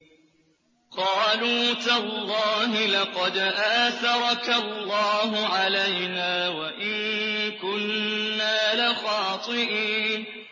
قَالُوا تَاللَّهِ لَقَدْ آثَرَكَ اللَّهُ عَلَيْنَا وَإِن كُنَّا لَخَاطِئِينَ